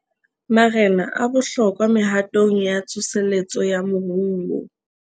Marena a bohlokwa mehatong ya tsoseletso ya moruo